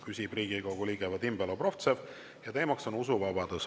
Küsib Riigikogu liige Vadim Belobrovtsev ja teema on usuvabadus.